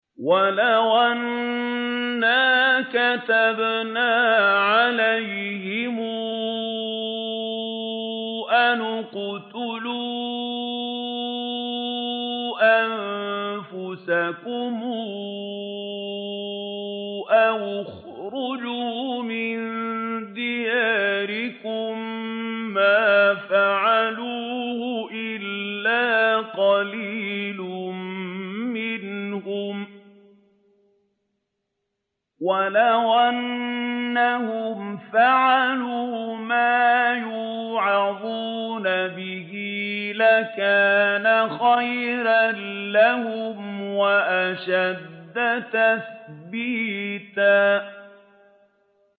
وَلَوْ أَنَّا كَتَبْنَا عَلَيْهِمْ أَنِ اقْتُلُوا أَنفُسَكُمْ أَوِ اخْرُجُوا مِن دِيَارِكُم مَّا فَعَلُوهُ إِلَّا قَلِيلٌ مِّنْهُمْ ۖ وَلَوْ أَنَّهُمْ فَعَلُوا مَا يُوعَظُونَ بِهِ لَكَانَ خَيْرًا لَّهُمْ وَأَشَدَّ تَثْبِيتًا